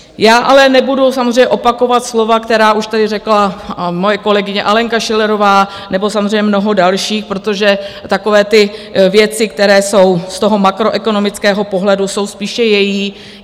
Já ale nebudu samozřejmě opakovat slova, která už tady řekla moje kolegyně Alenka Schillerová nebo samozřejmě mnoho dalších, protože takové ty věci, které jsou z toho makroekonomického pohledu, jsou spíše její.